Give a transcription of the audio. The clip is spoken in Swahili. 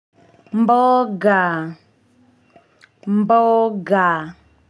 Mboga mboga.